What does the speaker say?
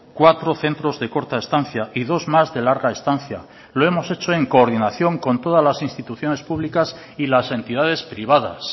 cuatro centros de corta estancia y dos más de larga estancia lo hemos hecho en coordinación con todas las instituciones públicas y las entidades privadas